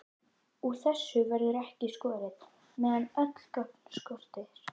Úr þessu verður ekki skorið, meðan öll gögn skortir.